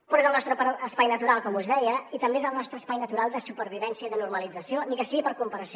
però és el nostre espai natural com us deia i també és el nostre espai natural de supervivència i de normalització ni que sigui per comparació